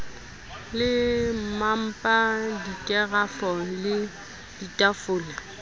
le mmapa dikerafo le ditafole